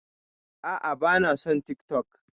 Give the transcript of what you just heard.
A'a, ba na son TikTok.